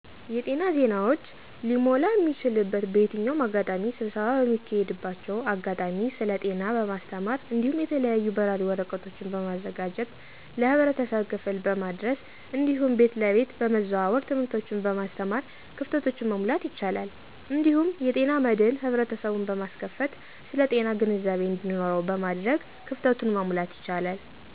የጤና ዜናወች' ሊሞላ እሚችልበት በየትኛውም አጋጣሚ ስብሰባ በሚካሄድባቸው አጋጣሚ ስለ ጤና በማስተማር እዲሁም የተለያዩ በራሪ ወረቀቶችን በማዘጋጀት ለህብረተሰብ ክፋል በማድረስ እዲሁም ቤት ለቤት በመዘዋወር ትምህቶችን በማስተማር ክፍተቶችን መሙላት ይቻላል። እዲሁም የጤና መድን ህብረተሰቡን በማስከፋት ስለጤና ግንዛቤ እዲኑረው በማድረግ ክፍተቱን መሙላት ይቻላል።